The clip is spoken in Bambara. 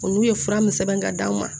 Olu ye fura min sɛbɛn ka d'anw ma